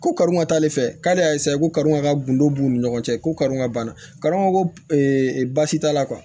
Ko kari ma k'ale fɛ k'ale y'a ko kari ka gundo b'u ni ɲɔgɔn cɛ ko karon ka ban kadɔ ko e baasi t'a la